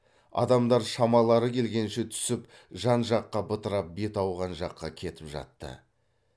адамдар шамалары келгенше түсіп жан жаққа бытырап беті ауған жаққа кетіп жатты